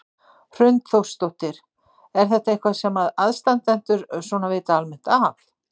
Hrund Þórsdóttir: Er þetta eitthvað sem að aðstandendur svona vita almennt af?